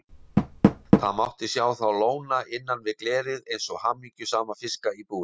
Það mátti sjá þá lóna innan við glerið eins og hamingjusama fiska í búri.